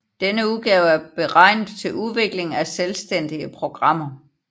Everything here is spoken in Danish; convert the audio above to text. Denne udgave er beregnet til udvikling af selvstændige programmer